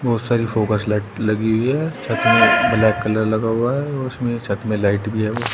बहुत सारी focus light लगी हुई है ब्लैक कलर लगा हुआ है और उसमें छत में लाइट भी है।